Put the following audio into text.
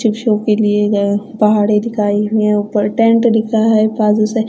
शिक्षों के लिए गए पहाड़ी दिखाई हुई है ऊपर टेंट दिखा है बाजू से--